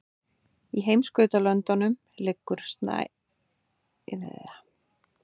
Í heimskautalöndum liggur snælína víða við sjávarmál.